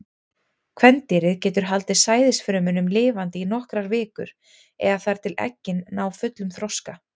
Kvendýrið getur haldið sæðisfrumunum lifandi í nokkrar vikur, eða þar til eggin ná fullum þroska.